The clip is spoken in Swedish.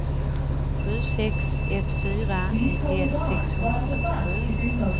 sju sex ett fyra nittioett sexhundrafyrtiosju